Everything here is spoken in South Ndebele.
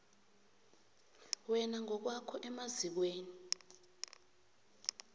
wena ngokwakho emazikweni